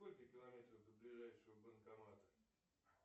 сколько километров до ближайшего банкомата